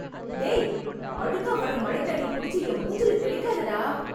டேய்... அழுக்கா வர்ற மழைத்தண்ணிய புடிச்சு, என் மூஞ்சில தெளிக்காதடா...